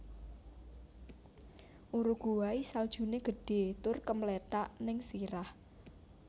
Uruguay saljune gedhe tur kemlethak ning sirah